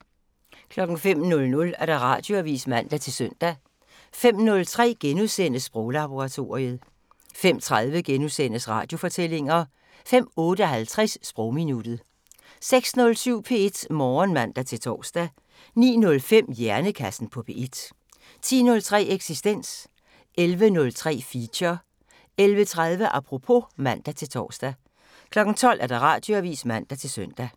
05:00: Radioavisen (man-søn) 05:03: Sproglaboratoriet * 05:30: Radiofortællinger * 05:58: Sprogminuttet 06:07: P1 Morgen (man-tor) 09:05: Hjernekassen på P1 10:03: Eksistens 11:03: Feature 11:30: Apropos (man-tor) 12:00: Radioavisen (man-søn)